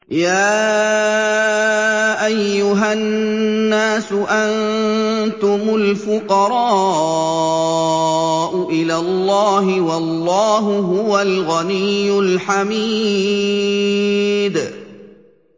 ۞ يَا أَيُّهَا النَّاسُ أَنتُمُ الْفُقَرَاءُ إِلَى اللَّهِ ۖ وَاللَّهُ هُوَ الْغَنِيُّ الْحَمِيدُ